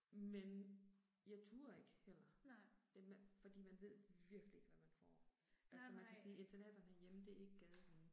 Men jeg turde ikke heller. Det, fordi man ved virkelig ikke hvad man får. Altså man kan sige internaterne herhjemme det er ikke gadehunde